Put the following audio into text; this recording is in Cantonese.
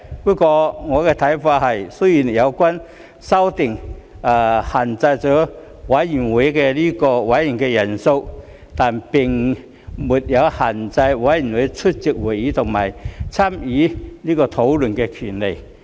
不過，我的看法是，雖然有關修訂限制了委員會的委員人數，但並沒有限制非委員出席會議和參與討論的權利。